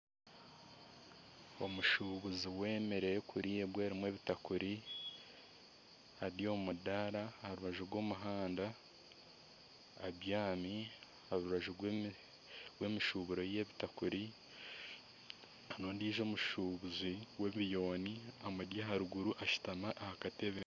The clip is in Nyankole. Omushuubuzi w'emere erikuriibwa erimu ebitakuri ari omumudaara aharubaju rw'omuhanda abyaami aha rubaju rwemishuburo ye y'ebitakuri nana ondiijo omushuubuzi w'ebiyuuni omuri aharuguru ashutami aha katebe